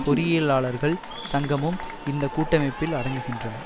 பொறியியலாளர்கள் சங்கமும் இந்த கூட்டமைப்பில் அடங்குகின்றன